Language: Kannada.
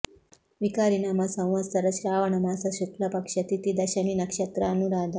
ವಿಕಾರಿನಾಮ ಸಂವತ್ಸರ ಶ್ರಾವಣ ಮಾಸ ಶುಕ್ಲ ಪಕ್ಷ ತಿಥಿ ದಶಮಿ ನಕ್ಷತ್ರ ಅನುರಾಧ